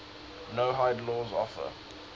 noahide laws offer